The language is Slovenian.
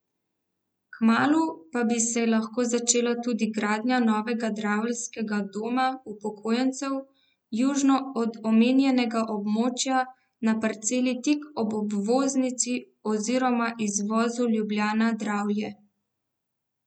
Kmalu pa bi se lahko začela tudi gradnja novega draveljskega doma upokojencev južno od omenjenega območja na parceli tik ob obvoznici oziroma izvozu Ljubljana Dravlje.